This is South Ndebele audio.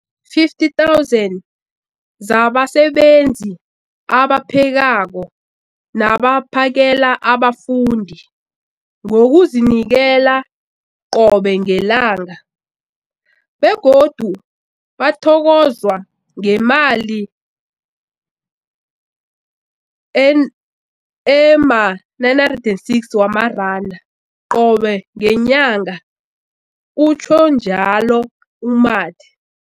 50 000 zabasebenzi abaphekako nabaphakela abafundi ngokuzinikela qobe ngelanga, begodu bathokozwa ngemali ema-960 wamaranda qobe ngenyanga, utjhwe njalo u-Mathe.